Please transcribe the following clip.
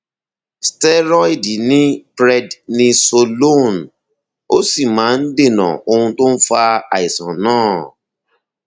steroid ni prednisolone ó sì máa ń dènà ohun tó ń fa àìsàn náà